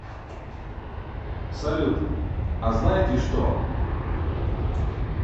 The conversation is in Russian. салют а знаете что